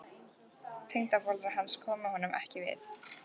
Tengdaforeldrar hans komu honum ekki við.